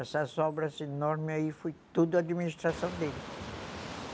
Essas obras enormes aí, foi tudo administração dele.